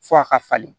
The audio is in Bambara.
F'a ka falen